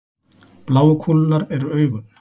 bláu kúlurnar eru augun